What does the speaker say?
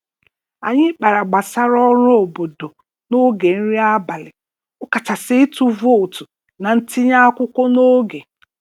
Anyị kpara gbasara ọrụ obodo n'oge nri abalị, ọkachasị ịtụ vootu na ntinye akwụkwọ n'oge.